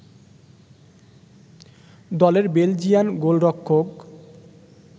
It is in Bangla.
দলের বেলজিয়ান গোলরক্ষক